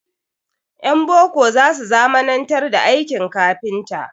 Ƴan boko za su zamanantar da aikin kafinta.